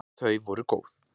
Þau voru góð!